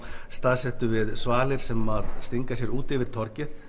staðsettum við svalir sem stinga sér út yfir torgið